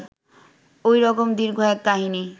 ঐ রকম দীর্ঘ এক কাহিনী